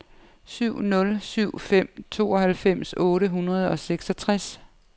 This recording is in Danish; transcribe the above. syv nul syv fem tooghalvfems otte hundrede og seksogtres